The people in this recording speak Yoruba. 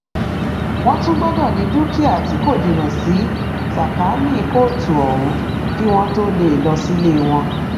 wọn tún gbọdọ ní dúkìá tí kò jìnnà sí sàkáání kóòtù ọhún kí wọn tóó lè lọ sílé wọn